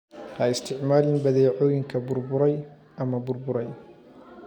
Ha isticmaalin badeecooyinka burburay ama burburay.